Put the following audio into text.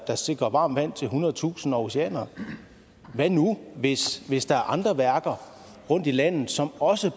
der sikrer varmt vand til hundredtusinder aarhusianere hvad nu hvis hvis der er andre værker rundt i landet som også